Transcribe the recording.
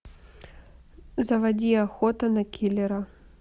заводи охота на киллера